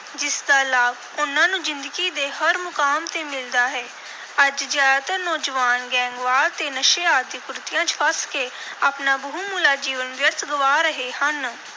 ਜਿਸ ਦਾ ਲਾਭ ਉਨ੍ਹਾਂ ਨੂੰ ਜ਼ਿੰਦਗੀ ਦੇ ਹਰ ਮੁਕਾਮ ਤੇ ਮਿਲਦਾ ਹੈ। ਅੱਜ ਜ਼ਿਆਦਾਤਰ ਨੌਜਵਾਨ ਗੈਂਗਵਾਰ ਤੇ ਨਸ਼ੇ ਆਦਿ ਕੁਰੀਤੀਆਂ ਚ ਫਸ ਕੇ ਆਪਣਾ ਬਹੁਮੁੱਲਾ ਜੀਵਨ ਵਿਅਰਥ ਗਵਾ ਰਹੇ ਹਨ।